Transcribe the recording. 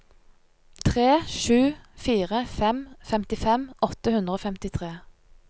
tre sju fire fem femtifem åtte hundre og femtifire